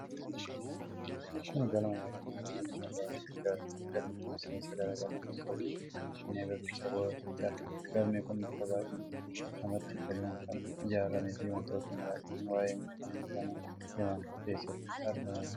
Kun galma yaadannoo injifannoo Adwaatiif ijaaramedha. Galmi kun seensa garaa garaa kan qabu yoo ta'u, Finfinnee Birbirsa Goorotitti argama. Galmi kun bifa baay'ee namatti toluun kan ijaaramee fi wantoonni baay'een waa'ee injifannoo kana himan keessatti argamanidha.